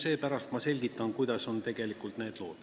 Seepärast ma selgitan, kuidas need lood tegelikult on.